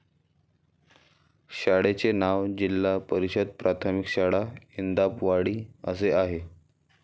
शाळेचे नाव जिल्हा परिषद प्राथमिक शाळा इंदापवाडी असे आहे.